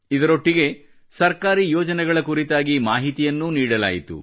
ಇದರೊಟ್ಟಿಗೆ ಸರ್ಕಾರಿ ಯೋಜನೆಗಳ ಕುರಿತಾಗಿ ಮಾಹಿತಿಯನ್ನೂ ನೀಡಲಾಯಿತು